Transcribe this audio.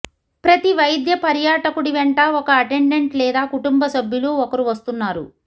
ప్రతి వైద్య పర్యాటకుడి వెంట ఒక అటెండెంట్ లేదా కుటుంబ సభ్యులు ఒకరు వస్తున్నారు